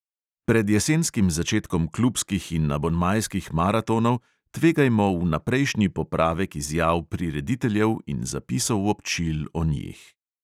Pred jesenskim začetkom klubskih in abonmajskih maratonov tvegajmo vnaprejšnji popravek izjav prirediteljev in zapisov občil o njih.